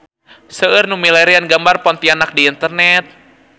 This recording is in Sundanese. Seueur nu milarian gambar Pontianak di internet